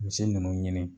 Misi ninnu ɲini